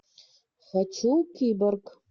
хочу киборг